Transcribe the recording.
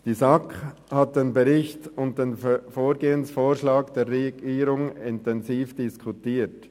Die SAK hat den Bericht und den Vorgehensvorschlag der Regierung intensiv diskutiert.